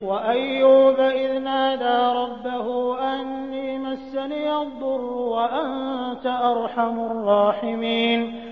۞ وَأَيُّوبَ إِذْ نَادَىٰ رَبَّهُ أَنِّي مَسَّنِيَ الضُّرُّ وَأَنتَ أَرْحَمُ الرَّاحِمِينَ